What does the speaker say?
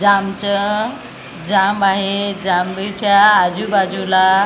ज्यामच जाम आहे जांभळीच्या आजूबाजूला.